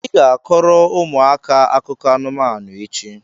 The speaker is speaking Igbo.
ị ga-akọrọ ụmụaka akụkọ anụmanụ echi!